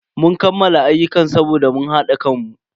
Mun kammala ayyukan saboda mun hada kanmu.